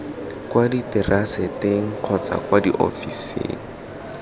kwa diteraseteng kgotsa kwa ofising